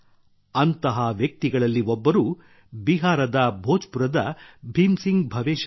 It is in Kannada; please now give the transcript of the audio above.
ಅಂತಹ ವ್ಯಕ್ತಿಗಳಲ್ಲಿ ಒಬ್ಬರು ಬಿಹಾರದ ಭೋಜ್ ಪುರದ ಭೀಮ್ ಸಿಂಗ್ ಭವೇಶ್ ಅವರು